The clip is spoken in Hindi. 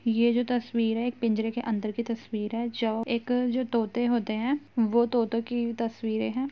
यह जो तस्वीर है एक पिंजरे के अंदर की तस्वीर है जौ एक जो तोते होते हैं वो तोतों की तस्वीरें हैं।